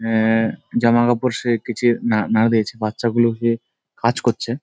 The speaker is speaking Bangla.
অ্যা জামা কাপড় সে কেঁচে না না দেখে বাচ্চাগুলোকে কাজ করছে।